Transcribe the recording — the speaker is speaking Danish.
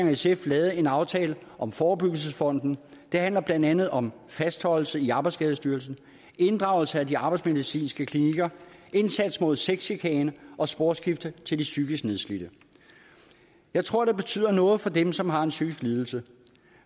og sf lavet en aftale om forebyggelsesfonden det handler blandt andet om fastholdelse i arbejdsskadestyrelsen inddragelse af de arbejdsmedicinske klinikker indsats mod sexchikane og sporskifte til de psykisk nedslidte jeg tror det betyder noget for dem som har en psykisk lidelse